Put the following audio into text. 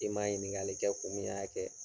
I m'a ɲininkali kɛ kun min y'a kɛ.